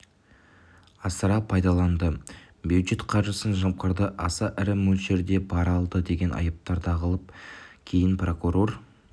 асыра пайдаланды бюджет қаржысын жымқырды аса ірі мөлшерде пара алды деген айыптар тағылды кейін прокурор